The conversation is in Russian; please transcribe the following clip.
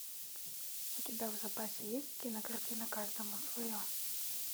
у тебя в запасе есть кинокартина каждому свое